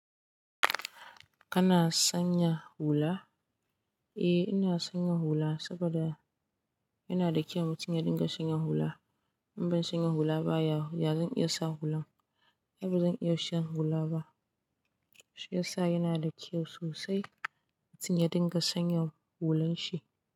Kana sanya hula? Eh ina sanya hula saboda yana da kyau mutum ya dinga sanya hula. In ban sanya hula ba ya zan iya sa hulan. Yau ba zan iya shan hula ba. Shi yasa yana da kyau sosai mutum ya dinga sanya hulan shi.